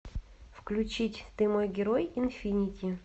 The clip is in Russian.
включить ты мой герой инфинити